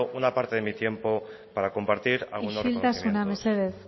una parte de mi tiempo para compartir isiltasuna mesedez